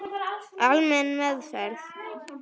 Almenn meðferð